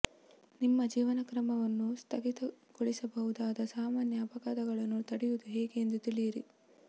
ನಿಮ್ಮ ಜೀವನಕ್ರಮವನ್ನು ಸ್ಥಗಿತಗೊಳಿಸಬಹುದಾದ ಸಾಮಾನ್ಯ ಅಪಘಾತಗಳನ್ನು ತಡೆಯುವುದು ಹೇಗೆ ಎಂದು ತಿಳಿಯಿರಿ